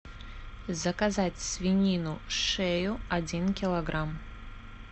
заказать свинину шею один килограмм